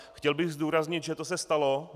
Chtěl bych zdůraznit, že to se stalo.